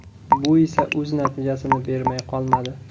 Bu esa o‘z natijasini bermay qolmadi.